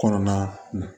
Kɔnɔna na